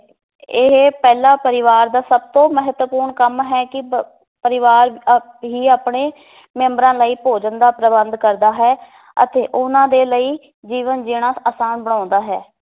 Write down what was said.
ਇਹ ਪਹਿਲਾਂ ਪਰਿਵਾਰ ਦਾ ਸਭ ਤੋਂ ਮਹੱਤਵਪੂਰਨ ਕੰਮ ਹੈ ਕਿ ਪ~ ਪਰਿਵਾਰ ਅਹ ਹੀ ਆਪਣੇ ਮੈਂਬਰਾਂ ਲਈ ਭੋਜਨ ਦਾ ਪ੍ਰਬੰਧ ਕਰਦਾ ਹੈ ਅਤੇ ਉਹਨਾਂ ਦੇ ਲਈ ਜੀਵਨ ਜੀਣਾ ਆਸਾਨ ਬਣਾਉਂਦਾ ਹੈ